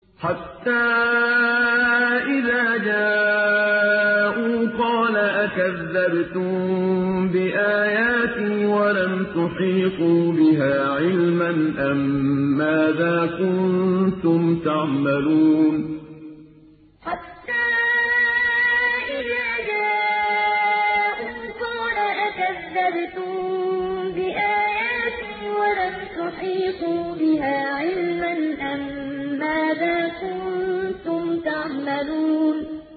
حَتَّىٰ إِذَا جَاءُوا قَالَ أَكَذَّبْتُم بِآيَاتِي وَلَمْ تُحِيطُوا بِهَا عِلْمًا أَمَّاذَا كُنتُمْ تَعْمَلُونَ حَتَّىٰ إِذَا جَاءُوا قَالَ أَكَذَّبْتُم بِآيَاتِي وَلَمْ تُحِيطُوا بِهَا عِلْمًا أَمَّاذَا كُنتُمْ تَعْمَلُونَ